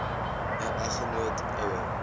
n eggenoot ouer